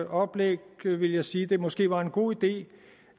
oplæg vil jeg sige at det måske var en god idé